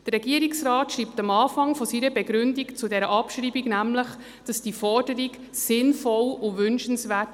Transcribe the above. Der Regierungsrat schreibt am Anfang seiner Begründung zur Abschreibung nämlich, diese Forderung sei sinnvoll und wünschenswert.